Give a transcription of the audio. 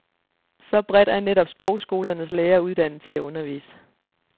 Så bredt er netop sprogskolernes lærere uddannet til at undervise.